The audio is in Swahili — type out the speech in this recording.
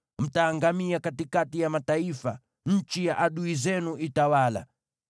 Mtaangamia katikati ya mataifa; nchi ya adui zenu itawala.